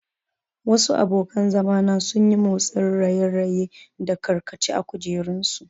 Wasu abokan zama na sun yi motsin raye-raye da karkace a kujerunsu.